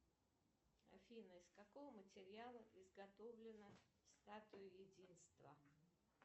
афина из какого материала изготовлена статуя единства